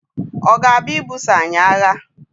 ọ̀ ga-abịa ibuso anyị agha?